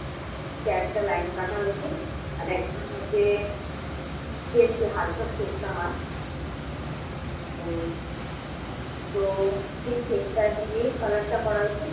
নিচে একটা line কাঁটা হয়েছে। আর একটার মধ্যে তিন চারটে হালকা shade দেওয়া হয়। উম তো সেই shade টা দিয়ে color টা করা হয়েছে।